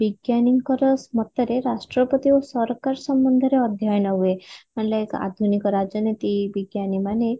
ବିଜ୍ଞାନୀଙ୍କର ମତରେ ରାଷ୍ଟ୍ର ପ୍ରତି ଓ ସରକାର ସମ୍ବନ୍ଧରେ ଅଧ୍ୟୟନ ହୁଏ ମାନେ ଆଧୁନିକ ରାଜନୀତି ବିଜ୍ଞାନୀ ମାନେ